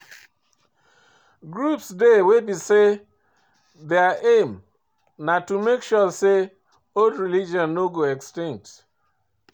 Groups dey wey be sey their aim na to make sure sey old religion no go extinct